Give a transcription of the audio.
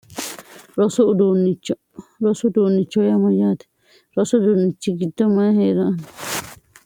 dichrosu uduunnicho hoyaamayyaate rosu uduunnichi gitto mayi hee'ra anno